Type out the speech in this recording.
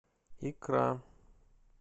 икра